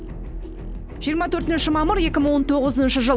жиырма төртінші мамыр екі мың он тоғызыншы жыл